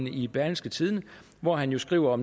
i berlingske tiderne hvori han jo skriver